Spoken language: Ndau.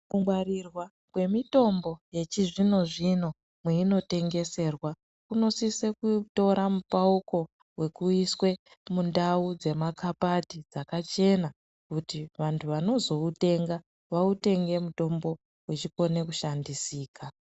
Kungwarirwa kwemitombo yechizvino-zvino mweinotengeserwa kunosise kutora mupauko wekuiswe mundau dzemakapati dzakachena kuti vantu vanozoutenga vautenge mutombo wechikone kushandisika.